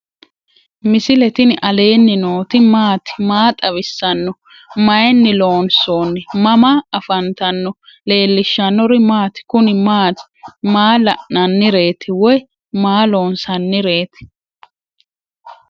misile tini alenni nooti maati? maa xawissanno? Maayinni loonisoonni? mama affanttanno? leelishanori maati? kunni maati? maa la'nanireetti? woy maa loonsanireetti?